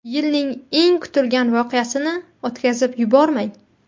Yilning eng kutilgan voqeasini o‘tkazib yubormang.